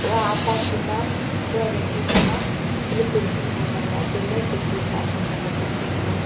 ata chi ma pura ley huke ma teli bilding bu ngan lah ley tai ley bilding acho achjo nga bilding .